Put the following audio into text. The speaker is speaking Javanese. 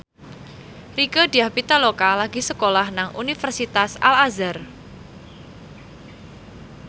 Rieke Diah Pitaloka lagi sekolah nang Universitas Al Azhar